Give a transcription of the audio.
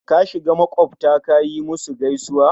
kashiga maƙwabta kayi musu gaisuwa?